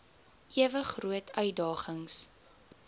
ewe groot uitdagings